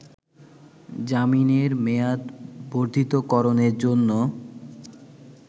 জামিনের মেয়াদ বর্ধিতকরণের জন্য